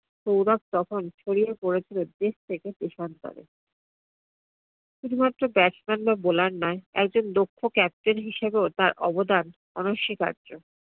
সৌরভ তখন ছড়িয়ে পরেছিল দেশ থেকে দেশান্তরে। শুধুমাত্র batsman বা bowler নয় একজন দক্ষ captain হিসাবেও তার অবদান অনস্বীকার্য।